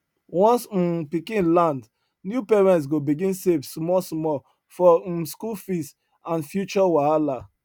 once um pikin land new parents go begin save smallsmall for um school fee and future wahala